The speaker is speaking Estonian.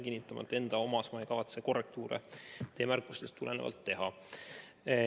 Kinnitan, et enda omas ei kavatse ma korrektuure teie märkustest tulenevalt teha.